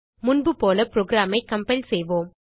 முன்புபோல புரோகிராம் ஐ கம்பைல் செய்வோம்